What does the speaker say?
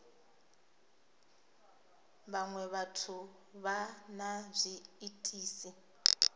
vhaṅwe vhathu vha na zwiitisi